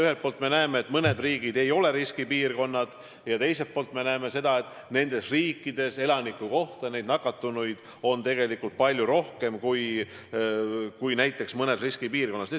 Ühelt poolt me näeme, et mõned riigid ei ole riskipiirkonnad, aga teiselt poolt näeme seda, et nendes riikides elaniku kohta on nakatunuid tegelikult palju rohkem kui mõnes riskipiirkonnas.